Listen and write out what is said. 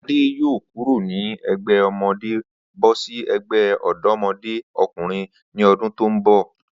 Adé yóò kúró ní e̩gbé̩ o̩mo̩dé bó̩ sí e̩gbé̩ ò̩dó̩mo̩dé o̩kùnrin ní o̩dún tó ń bò̩